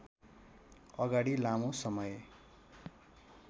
अगाडि लामो समय